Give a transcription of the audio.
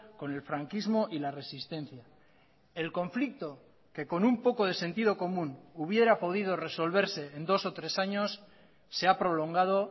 con el franquismo y la resistencia el conflicto que con un poco de sentido común hubiera podido resolverse en dos o tres años se ha prolongado